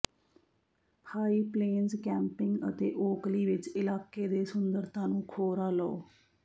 high plains camping ਅਤੇ Oakley ਵਿਚ ਇਲਾਕੇ ਦੇ ਸੁੰਦਰਤਾ ਨੂੰ ਖੋਰਾ ਲਓ